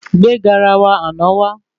Gbé garawa àna wá